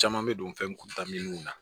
Caman bɛ don fɛnkuntan minnu na